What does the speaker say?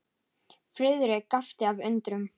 Friðrik gapti af undrun.